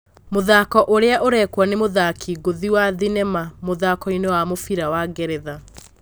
Mũthako ũrĩa ũrekwo ni mũthaki ngũthi wa Thinema mũthakoinĩ wa mũbira wa Ngeretha.